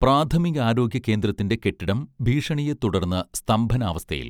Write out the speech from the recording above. പ്രാഥമികാരോഗ്യ കേന്ദ്രത്തിന്റെ കെട്ടിടം ഭീഷണിയെ തുടർന്ന് സ്തംഭനാവസ്ഥയിൽ